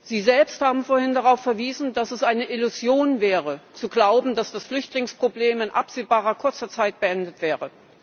Sie selbst haben vorhin darauf verwiesen, dass es eine Illusion wäre zu glauben, dass das Flüchtlingsproblem in absehbar kurzer Zeit beendet wäre.